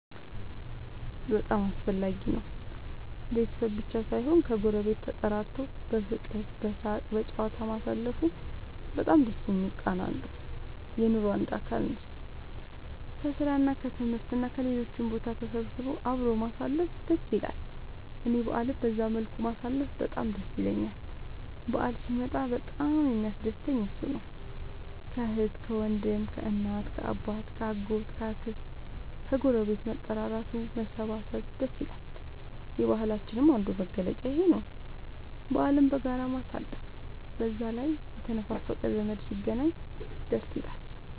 በጣም አስፈላጊ ነው ቤተሰብ ብቻ ሳይሆን ከ ጎረቤት ተጠራርቶ በፍቅር በሳቅ በጨዋታ ማሳለፉ በጣም ደስ የሚል ቃና አለው። የኑሮ አንዱ አካል ነው። ከስራ እና ከትምህርት እና ከሌሎችም ቦታ ተሰብስቦ አብሮ ማሳለፍ ደስ ይላል እኔ በአልን በዛ መልኩ ማሳለፍ በጣም ደስ ይለኛል በአል ሲመጣ በጣም የሚያስደስተኝ እሱ ነው። ከአህት ከወንድም ከእናት ከአባት ከ አጎት ከ አክስት ከግረቤት መጠራራቱ መሰባሰብ ደስ ይላል። የባህላችንም አንዱ መገለጫ ይኽ ነው በአልን በጋራ ማሳለፍ። በዛ ላይ የተነፋፈቀ ዘመድ ሲገናኝ ደስ ይላል